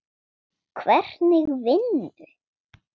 Hvernig vinnu?